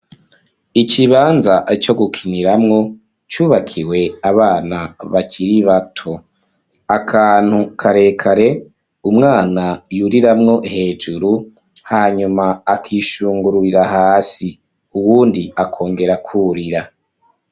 Ikibanza, co gukiniramwo, cubakiwe abana, bakiri bato; akantu karekare, umwana yuriramwo, hejuru, hanyuma akishungururira hasi; uwundi akongera akurira.